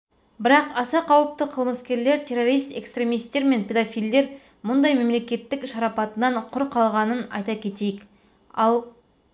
бірақ аса қауіпті қылмыскерлер террорист экстремистер мен педофилдер бұндай мемлекеттің шарапатынан құр қалғанын айта кетейік ал